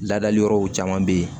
Ladali yɔrɔw caman be ye